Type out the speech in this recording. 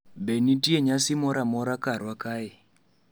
be nitie nyasi moro amora karwa kae